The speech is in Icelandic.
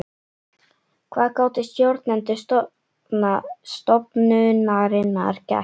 Hvað gátu stjórnendur stofnunarinnar gert?